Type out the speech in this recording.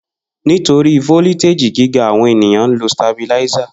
Nitori foliteji giga, awọn eniyan lo Stabilizer.